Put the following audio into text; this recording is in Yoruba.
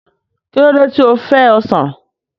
Kí ló dé tí o fẹ́ ọsàn?